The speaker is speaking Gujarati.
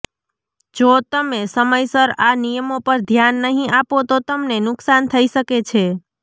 જો તમે સમયસર આ નિયમો પર ધ્યાન નહીં આપો તો તમને નુકસાન થઈ શકે છે